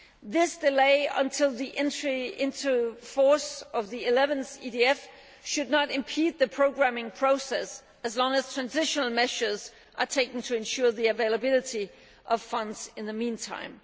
This delay until the entry into force of the 11th EDF should not impede the programming process, as long as transitional measures are taken to ensure the availability of funds in the meantime.